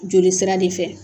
Joli sira de fɛ